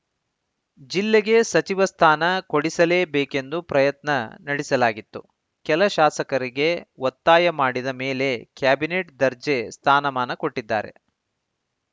ಜಿಲ್ಲೆಗೆ ಸಚಿವ ಸ್ಥಾನ ಕೊಡಿಸಲೇಬೇಕೆಂದು ಪ್ರಯತ್ನ ನಡೆಸಲಾಗಿತ್ತು ಕೆಲ ಶಾಸಕರಿಗೆ ಒತ್ತಾಯ ಮಾಡಿದ ಮೇಲೆ ಕ್ಯಾಬಿನೆಟ್‌ ದರ್ಜೆ ಸ್ಥಾನಮಾನ ಕೊಟ್ಟಿದ್ದಾರೆ